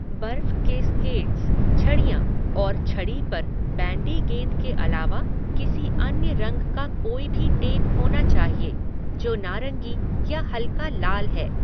बर्फ के स्केट्स, छड़ियाँ और छड़ी पर बैंडी गेंद के अलावा किसी अन्य रंग का कोई भी टेप होना चाहिए, जो नारंगी या हल्का लाल है।